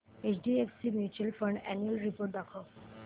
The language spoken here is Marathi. HDFC mutual fund annual report दाखव